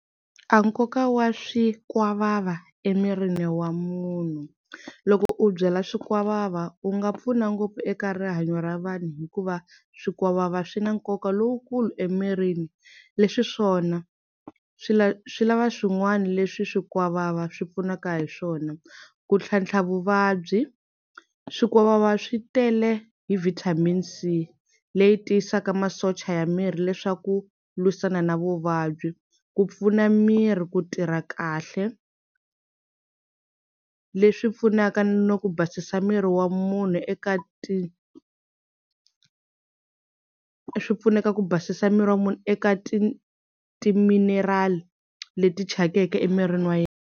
A nkoka wa swikwavava emirini wa munhu loko u byala swikwavava u nga pfuna ngopfu eka rihanyo ra vanhu hikuva swikwavava swi na nkoka lowukulu emirini leswi swona swi swi lava swin'wana leswi swikwavava swi pfunaka hi swona ku tlhantlha vuvabyi swikwavava swi tele hi vitamin C leyi tiyisaka masocha ya miri leswaku lwisana na vuvabyi ku pfuna miri ku tirha kahle leswi pfunaka no ku basisa miri wa munhu eka ti swi pfuneta ku basisa miri wa munhu eka ti timinerali leti thyakeke emirini wa yena.